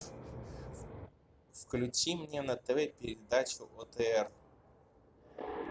включи мне на тв передачу отр